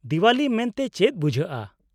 -ᱫᱮᱣᱟᱞᱤ ᱢᱮᱱᱛᱮ ᱪᱮᱫ ᱵᱩᱡᱷᱟᱹᱜᱼᱟ ?